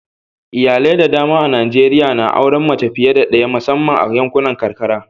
Iyalai da dama a Najeriya na auren mace fiye da daya musamman a yankunan karkara.